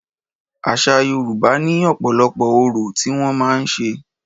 Àṣa Yorùbá ní ọ̀pọ̀lọpọ̀ orò tí wọ́n màá ń ṣe.